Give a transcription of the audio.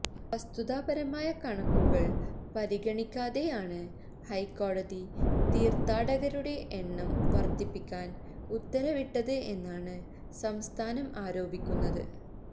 വസ്തുതാപരമായ കണക്കുകള് പരിഗണിക്കാതെ ആണ് ഹൈക്കോടതി തീര്ത്ഥാടകരുടെ എണ്ണം വര്ദ്ധിപ്പിക്കാന് ഉത്തരവിട്ടത് എന്നാണ് സംസ്ഥാനം ആരോപിക്കുന്നത്